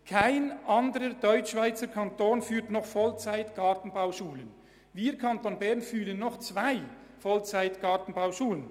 Kein anderer Deutschschweizer Kanton führt noch Vollzeit-Gartenbauschulen, während wir im Kanton Bern noch zwei davon führen.